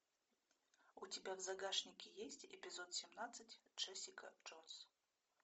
у тебя в загашнике есть эпизод семнадцать джессика джонс